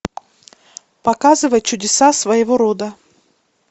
показывай чудеса своего рода